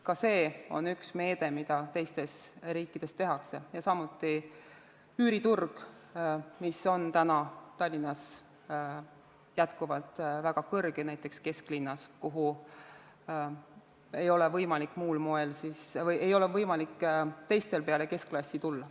Ka see on üks meetmeid, mida teistes riikides kasutatakse, ja samuti üüriturg, kus hinnad on Tallinnas jätkuvalt väga kõrged, näiteks kesklinnas, kuhu ei ole võimalik teistel peale keskklassi tulla.